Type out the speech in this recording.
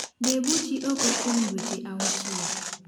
Debuchy oko kuom dweche auchiel